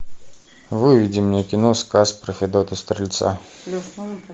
выведи мне кино сказ про федота стрельца